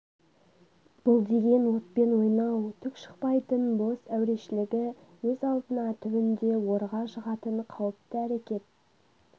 бұл деген отпен ойнау түк шықпайтын бос әурешілігі өз алдына түбінде орға жығатын қауіпті әрекет